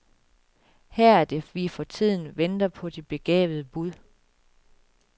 Her er det vi for tiden venter på de begavede bud.